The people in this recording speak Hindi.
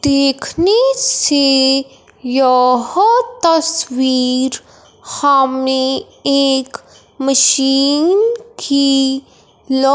देखने से यह तस्वीर हमें एक मशीन की ल--